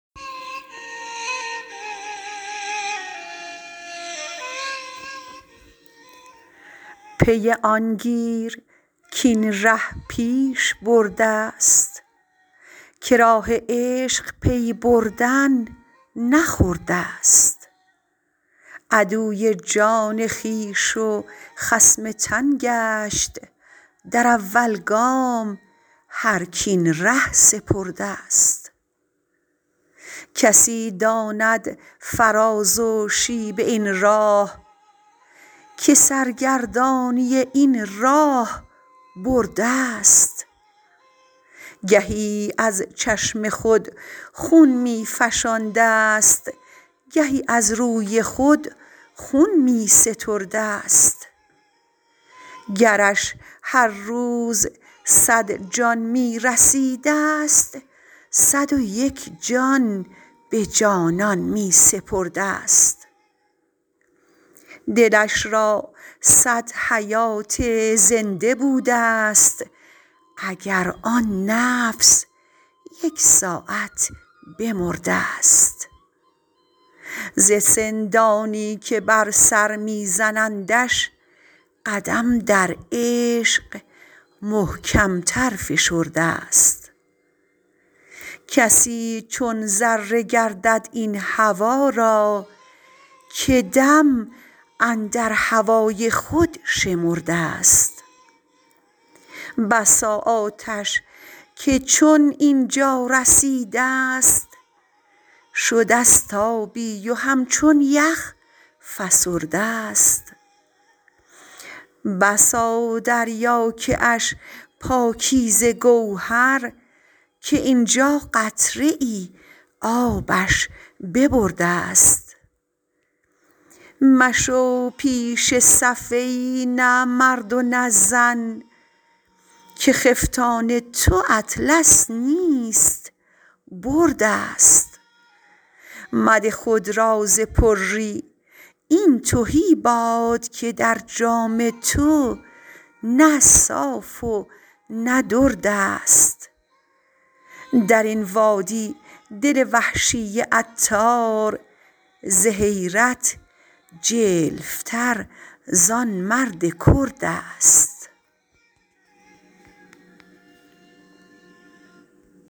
پی آن گیر کاین ره پیش بردست که راه عشق پی بردن نه خردست عدو جان خویش و خصم تن گشت در اول گام هرک این ره سپردست کسی داند فراز و شیب این راه که سرگردانی این راه بردست گهی از چشم خود خون می فشاندست گهی از روی خود خون می ستردست گرش هر روز صد جان می رسیدست صد و یک جان به جانان می سپردست دلش را صد حیات زنده بودست اگر آن نفس یک ساعت بمردست ز سندانی که بر سر می زنندش قدم در عشق محکم تر فشردست کسی چون ذره گردد این هوا را که دم اندر هوای خود شمردست بسا آتش که چون اینجا رسیدست شدست آبی و همچون یخ فسردست بسا دریا کش پاکیزه گوهر که اینجا قطره ای آبش ببردست مشو پیش صف ای نه مرد و نه زن که خفتان تو اطلس نیست بردست مده خود را ز پری این تهی باد که در جام تو نه صاف و نه دردست درین وادی دل وحشی عطار ز حیرت جلف تر زان مرد کردست